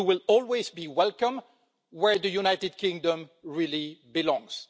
You will always be welcome where the United Kingdom really belongs.